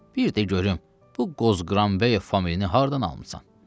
Bir də görüm bu Qozqranbəyov famili haradan almısan?